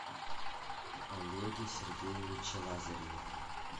олеге сергеевиче лазареве